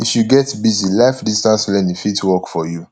if you get busy life distance learning fit work for you